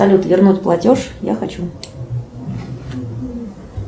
салют вернуть платеж я хочу